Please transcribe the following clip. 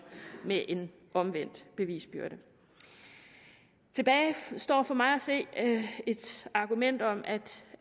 med en omvendt bevisbyrde tilbage står for mig at se et argument om at